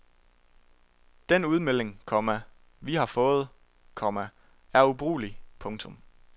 Den udmelding, komma vi har fået, komma er ubrugelig. punktum